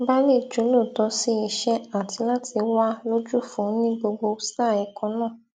ba lè jólóòtọ sí iṣẹ àti láti wà lójúfò ní gbogbo sáà èkó náà